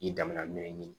I danban dɔ ye ɲini